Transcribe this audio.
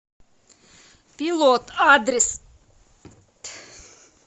пилот адрес